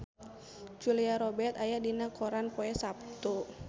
Julia Robert aya dina koran poe Saptu